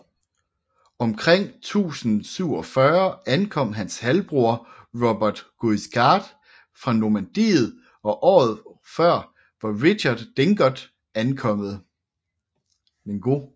Omkring 1047 ankom hans halvbror Robert Guiscard fra Normandiet og året før var Richard Drengot kommet